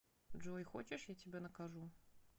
джой хочешь я тебя накажу